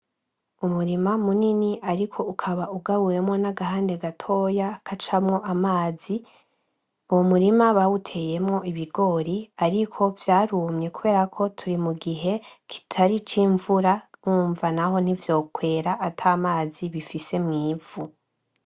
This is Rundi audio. Umurima munini ariko ukaba ugabuyemwo N’agahande gatoya gacamwo amazi uwo murima bawuteyemwo ibigori ariko vyarumye kuberako turi mugihe kitari icimvura urumva naho ntivyokwera atamazi bifise mw’ivu.